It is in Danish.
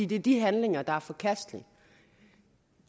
det er de handlinger der er forkastelige